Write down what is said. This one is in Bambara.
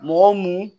Mɔgɔ mun